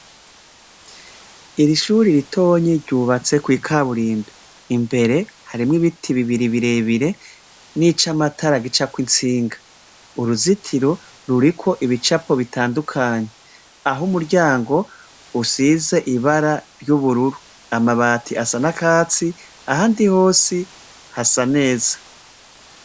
Ishure ritoyi ryubatse kwikaburimbi, imbere harimwo ibiti bibiri birebire nicamatara gicako itsinga uruzitiro ruriko ibicapo bitandukanye aho umuryango usize ibara ry'bururu amabati asa nakatsi ahandi hose hasa neza .